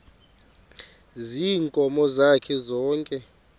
ziinkomo zakhe zonke